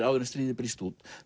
áður en stríðið brýst út